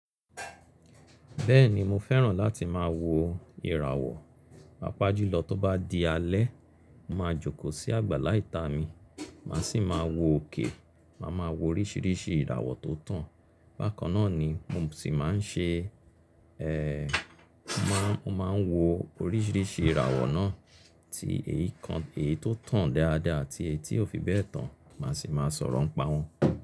Bẹ́ẹ̀ni mo fẹ́ràn láti máa wo ìràwọ̀, pàápàá jùlọ tó bá di alẹ́. Mo máa jókòó sí àgbàlá ìta mi, màá sì máa wo òkè, màá máa wo oríṣìíríṣìí ìràwọ̀ tó tàn. Bákan náà ni mo sì máa ń ṣe, eeh, mo máa, mo máa wo oríṣìíríṣìí ìràwọ̀ náà tí èyí kan, èyí tó tàn dáadáa àti èyí tí ò fi bẹ́ẹ̀ tán, màá sì máa sọ̀rọ̀ ń pa wọ́n.